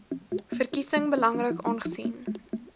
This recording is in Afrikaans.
verkiesing belangrik aangesien